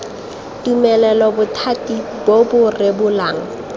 tumelelo bothati bo bo rebolang